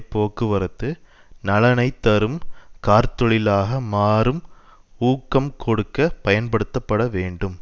போக்குவரத்து நலனைத் தரும் கார்த்தொழிலாக மாறும் ஊக்கம் கொடுக்க பயன்படுத்தப்பட வேண்டும்